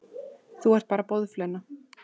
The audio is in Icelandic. Þú ert bara boðflenna.